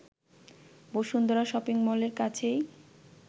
Bashundhara shopping মলের কাছেই